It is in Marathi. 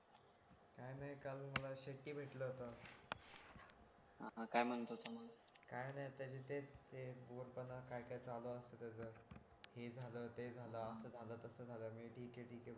काय नाही काल शेळके भेटला होता हा काय म्हणत होता मग काही नाही त्याचा तेच ते बोर करणं काय काय चालू असतं त्याचं हे झालं ते झालं असं झालं तसं झालं मी ठीक आहे ठीक भो